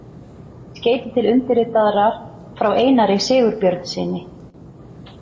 Í skeyti til undirritaðrar frá Einari Sigurbjörnssyni.